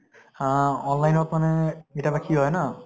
হা online ত মানে কেতিয়াবা কি হয় ন